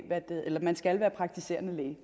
man skal være praktiserende læge